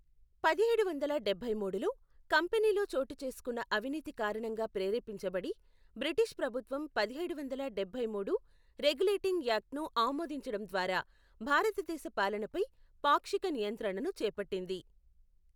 పదిహేడు వందల డబ్బై మూడులో, కంపెనీలో చోటుచేసుకున్న అవినీతి కారణంగా ప్రేరేపించబడి, బ్రిటిష్ ప్రభుత్వం పదిహేడు వందల డబ్బై మూడు రెగ్యులేటింగ్ యాక్ట్ను ఆమోదించడం ద్వారా భారతదేశ పాలనపై పాక్షిక నియంత్రణను చేపట్టింది.